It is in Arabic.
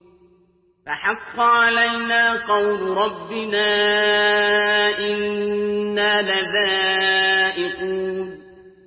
فَحَقَّ عَلَيْنَا قَوْلُ رَبِّنَا ۖ إِنَّا لَذَائِقُونَ